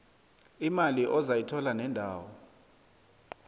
imali ozayithola nendawo